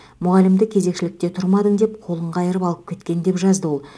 мұғалімді кезекшілікте тұрмадың деп қолын қайырып алып кеткен деп жазды ол